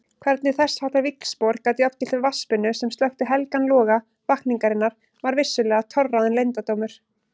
Hvernig þessháttar víxlspor gat jafngilt vatnsbunu sem slökkti helgan loga vakningarinnar var vissulega torráðinn leyndardómur.